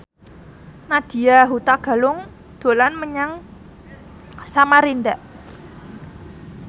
Nadya Hutagalung dolan menyang Samarinda